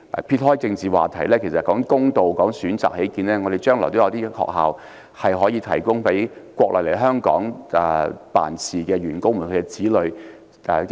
撇開政治話題，以公道和提供更多選擇起見，本港將來是否應該設有學校，提供予國內來港工作員工的子女就讀？